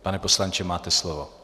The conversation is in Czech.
Pane poslanče, máte slovo.